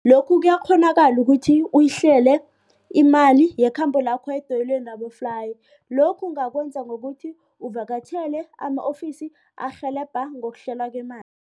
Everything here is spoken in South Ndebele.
Lokhu kuyakghonakala ukuthi uyihlele imali yekhambo lakho edoyeleni laboflayi. Lokhu ungakwenza ngokuthi uvakatjhele ama-ofisi arhelebha ngokuhlelwa kwemali.